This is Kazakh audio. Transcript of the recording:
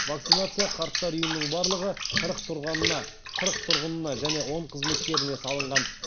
вакцинация қарттар үйінің барлығы қырық тұрғынына және он қызметкеріне салынған